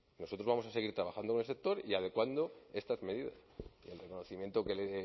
nosotros vamos a seguir trabajando con el sector y adecuando estas medidas y el reconocimiento que le